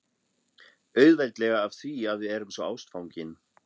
Auðveldlega af því að við erum svo ástfangin